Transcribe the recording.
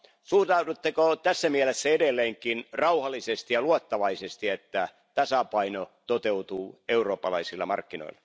Suhtaudutteko tässä mielessä edelleenkin rauhallisesti ja luottavaisesti siihen, että tasapaino toteutuu eurooppalaisilla markkinoilla?